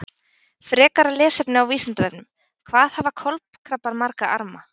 Frekara lesefni á Vísindavefnum: Hvað hafa kolkrabbar marga arma?